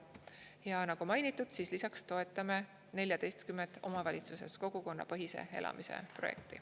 Ja nagu mainitud, lisaks toetame 14 omavalitsuses kogukonnapõhise elamise projekti.